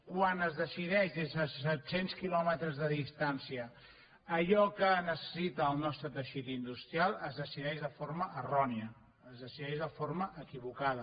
quan es decideix des de set cents quilòmetres de distància allò que necessita el nostre teixit industrial es decideix de forma errònia es decideix de forma equivocada